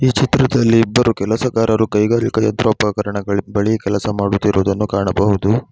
ಈ ಚಿತ್ರದಲ್ಲಿ ಇಬ್ಬರು ಕೆಲಸಗಾರರು ಕೈಗಾರಿಕಾ ಯಂತ್ರೋಪಕರಣಗಳಿಗೆ ಬಳಿ ಕೆಲಸ ಮಾಡುತ್ತಿರುವುದನ್ನು ಕಾಣಬಹುದು.